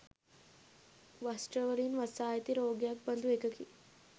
වස්ත්‍රවලින් වසා ඇති රෝගයක් බඳු එකකි.